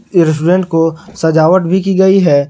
इस रेस्टोरेंट को सजावट भी की गई है।